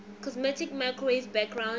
cosmic microwave background